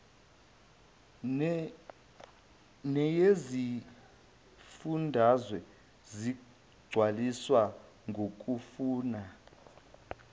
neyezifundazwe zigcwaliswa ngokufuna